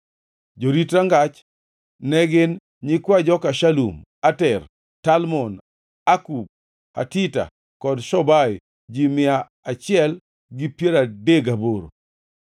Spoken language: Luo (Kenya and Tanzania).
Jorit rangach ne gin: nyikwa joka Shalum, Ater, Talmon, Akub, Hatita kod Shobai, ji mia achiel gi piero adek gaboro (138).